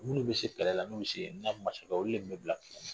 Minnu bɛ se kɛlɛ la n'u olu de tun bɛ bila kɛlɛ la